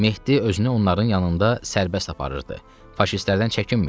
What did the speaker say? Mehdi özünü onların yanında sərbəst aparırdı, faşistlərdən çəkinmirdi.